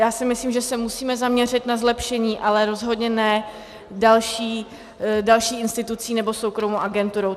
Já si myslím, že se musíme zaměřit na zlepšení, ale rozhodně ne další institucí nebo soukromou agenturou.